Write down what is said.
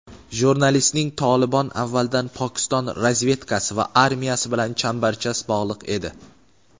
Jurnalistning "Tolibon" avvaldan Pokiston razvedkasi va armiyasi bilan chambarchas bog‘liq edi.